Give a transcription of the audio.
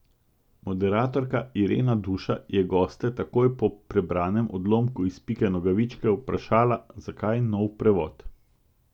Moderatorka Irena Duša je goste takoj po prebranem odlomku iz Pike Nogavičke vprašala, zakaj nov prevod.